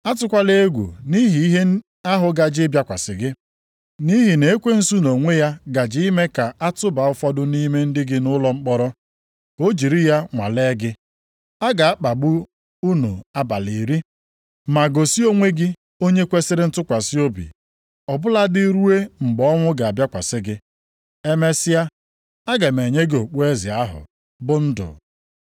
Atụkwala egwu nʼihi ihe ahụ gaje ịbịakwasị gị. Nʼihi na ekwensu nʼonwe ya gaje ime ka a tụba ụfọdụ nʼime ndị gị nʼụlọ mkpọrọ, ka o jiri ya nwalee gị. A ga-akpagbu unu abalị iri. Ma gosi onwe gị onye kwesiri ntụkwasị obi, ọ bụladị ruo mgbe ọnwụ ga-abịakwasị gị. Emesịa, a ga m enye gị okpueze ahụ, bụ ndụ.